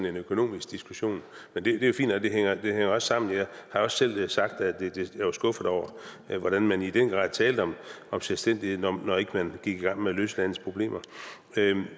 en økonomisk diskussion men det er jo fint og det hænger også sammen jeg har også selv sagt at jeg var skuffet over hvordan man i den grad talte om om selvstændighed når ikke man gik i gang med at løse landets problemer